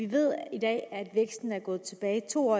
ved at væksten er gået tilbage to år